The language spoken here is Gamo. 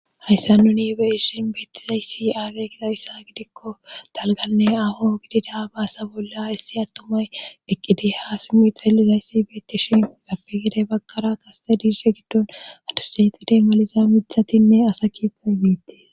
hayssa nuni be irshin beettizayssi aage gida issa gidikko talganne aho gidi daa baasa bolla issi attumay eqqidi ha simu xallizayssi beetti shin xapegedey bakkara kasete diirshe giddon adusayxidey maliza mithatinne asa keethay miittee